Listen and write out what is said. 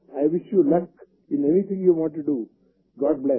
I wish you luck in everything you want to do God bless